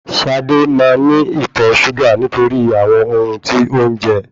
Ṣadé máa ní ìtọ̀ ṣúgà nítorí àwọn ohun tí ó ń jẹ